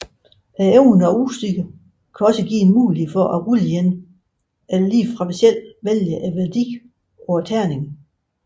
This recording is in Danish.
Evner og udstyr kan også give en mulighed for at rulle igen eller ligefrem selv vælge værdien på terningen